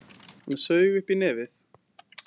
Hann saug upp í nefið.